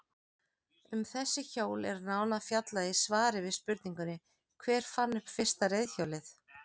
Um þessi hjól er nánar fjallaði í svari við spurningunni Hver fann upp fyrsta reiðhjólið?